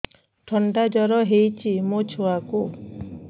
ଥଣ୍ଡା ଜର ହେଇଚି ମୋ ଛୁଆକୁ